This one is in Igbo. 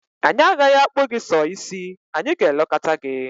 Anyị agaghị akpụ gị sọ ísí, anyị gà-elekọta gị.